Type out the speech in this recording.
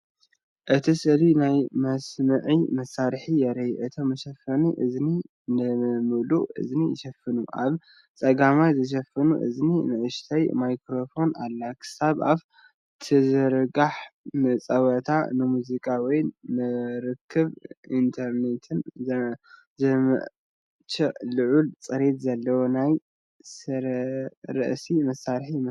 እቲ ስእሊ ናይ መስምዒ መሳርሒ የርኢ። እቶም መሸፈኒ እዝኒ ንብምሉኡ እዝኒ ይሽፍኑ። ኣብ ጸጋማይ መሸፈኒ እዝኒ ንእሽቶ ማይክሮፎን ኣላ ክሳብ ኣፍ ትዝርጋሕ። ንጸወታ፡ ንሙዚቃ ወይ ንርክብ ብኢንተርነት ዝምችእ ልዑል ጽሬት ዘለዎ ናይ ርእሲ መሳርሒ ይመስል።